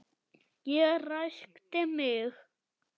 Ég ræskti mig.